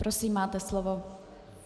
Prosím, máte slovo.